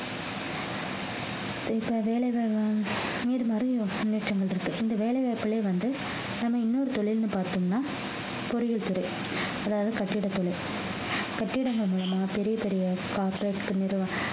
இப்ப வேலைகள் நேர்மறையோ முன்னேற்றங்கள் இருக்கு இந்த வேலை வாய்ப்புலயே வந்து நம்ம இன்னொரு தொழில்ன்னு பார்த்தோம்னா பொறியியல் துறை அதாவது கட்டிட தொழில் கட்டிடங்கள் மூலமா பெரிய பெரிய corperate நிறுவனம்